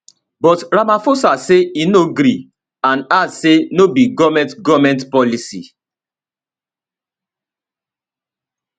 but ramaphosa say e no gree and add say no be goment goment policy